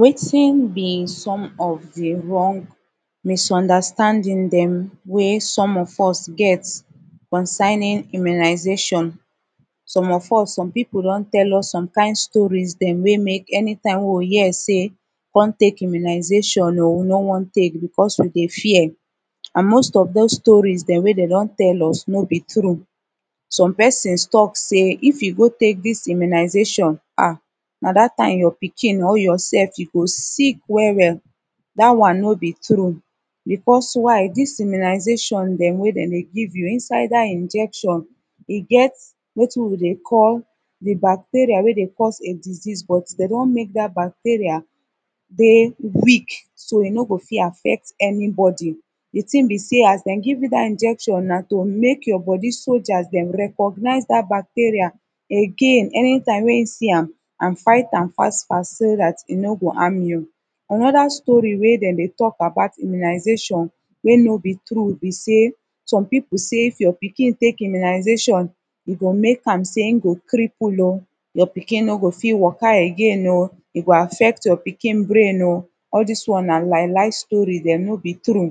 wetin bi som of de wrong misunderstanding dem wey som of us get concerning immunization som of us som pipu don tell us som kin stories dem wey mek dem any time wey wi hear sey com tek immunization o wi no wan tek becuz of de fear an most of dose stories dem wen dey don tell us no bi true som pesins tok sey if yu go tek dis immunization ahhhhhhhhh na dat tim yur pikin or yoursef e go sick well well dat one no bi true becuz why dis immunization dem wey dem de give you inside dat injection e get wetin wi de call de bacteria wey de cause de disease but dem don mek dat bacteria de weak so e no go fit affect anybody de tin bi sey as dem give yu dat injection na to mek yur bodi soldiers dem recognize dat bacteria again any time em si am an fight am fast fast so dat e no go ham yu anoda stori wey dem de tok about immunization wey no bi true bi sey som pipu sey if your pikin tek immunization go mek am sey e go cripple o yur pikin no go fit waka again o e go affect your pink brain o all dis one na lie lie stori dem no bi true